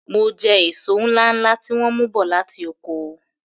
M jẹ èso ńláńlá tí wọ́n mú bọ̀ láti oko.